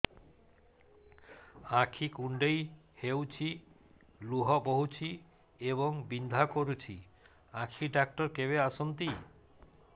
ଆଖି କୁଣ୍ଡେଇ ହେଉଛି ଲୁହ ବହୁଛି ଏବଂ ବିନ୍ଧା କରୁଛି ଆଖି ଡକ୍ଟର କେବେ ଆସନ୍ତି